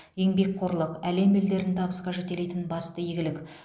еңбекқорлық әлем елдерін табысқа жетелейтін басты игілік